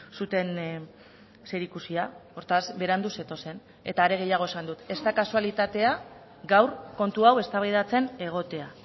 zuten zerikusia hortaz berandu zetozen eta are gehiago esan dut ez da kasualitatea gaur kontu hau eztabaidatzen egotea